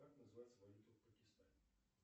как называется валюта в пакистане